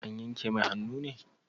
An yanka mai hannu ne?